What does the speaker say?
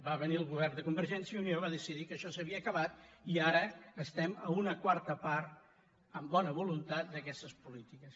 va venir el govern de convergència i unió va decidir que això s’havia acabat i ara estem a una quarta part amb bona voluntat d’aquestes polítiques